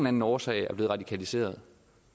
anden årsag er blevet radikaliseret